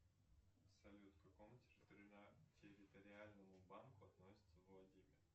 салют к какому территориальному банку относится владимир